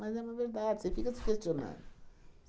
Mas é uma verdade, você fica se questionando.